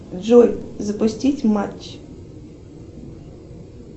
джой запустить матч